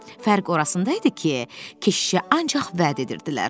Fərq orasındadır ki, keşişə ancaq vəd edirdilər.